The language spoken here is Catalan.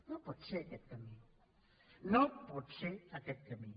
no pot ser aquest camí no pot ser aquest camí